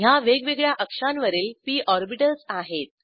ह्या वेगवेगळ्या अक्षांवरील पी ऑर्बिटल्स आहेत